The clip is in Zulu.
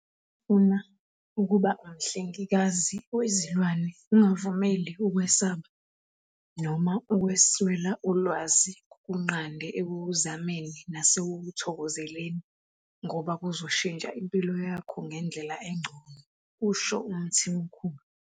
"Uma ufuna ukuba ngumhlengikazi wezilwane, ungavumeli ukwesaba noma ukuswela ulwazi kukunqande ekukuzameni nasekukuthokozeleni ngoba kuzoshintsha impilo yakho ngendlela engcono," kusho uMthimkhulu.